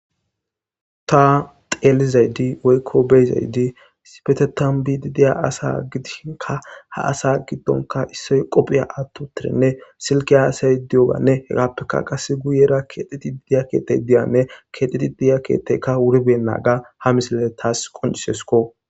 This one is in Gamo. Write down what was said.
Ta xellizati woykko beizayti issippetethan biidi diiya asa giddishinka ha asa giddonikka issoy qoppe aththi uttidinne silkke hassaetiyooganne heegappe qasse guyyera kexxetidi diya keththey diyanne kexxetidi diya keththeyka wuri beynagga ha missiley tassi qonccisesikko.